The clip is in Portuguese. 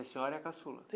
a senhora é a caçula?